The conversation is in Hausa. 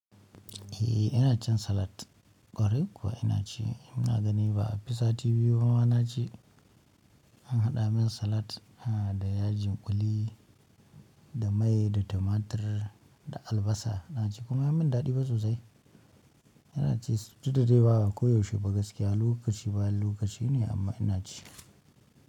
Eh ina cin salat, ƙwarai kuwa ina ci. Ina ganin ba a fi sati biyu ba na ci, an haɗa min salat ha da yajin ƙuli da mai da tumatir da albasa ina ci kuma ya min daɗi fa sosai ina ci. Duk da dai ba a koyaushe ba gaskiya lokaci bayan lokaci ne amma ina ci.